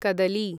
कदली